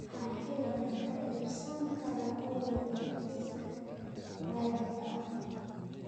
halkee baan ka iibsan karaa olly dalxiiska caadiga ah